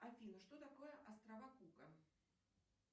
афина что такое острова кука